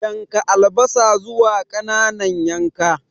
Yanka albasa zuwa ƙananan yanka.